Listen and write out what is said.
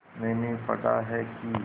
मैंने पढ़ा है कि